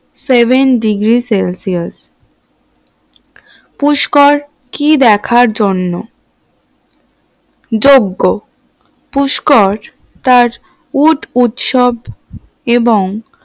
sevendegreecelsius Pushkar কি দেখার জন্য যোগ্য? পুষ্কর তার উট উৎসব এবং